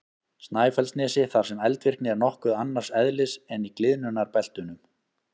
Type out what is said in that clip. Snæfellsnesi þar sem eldvirkni er nokkuð annars eðlis en í gliðnunarbeltunum.